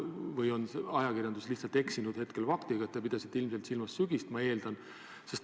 Või on ajakirjandus lihtsalt eksinud ja teie pidasite silmas sügist, nagu ma eeldan?